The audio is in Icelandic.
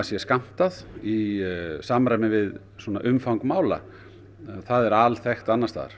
sé skammtað í samræmi við svona umfang mála það er alþekkt annars staðar